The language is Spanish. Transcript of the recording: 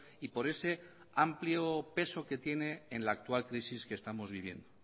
y por ese amplio peso que tiene en la actual crisis que estamos viviendo